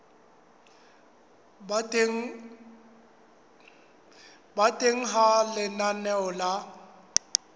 ba teng ha lenaneo la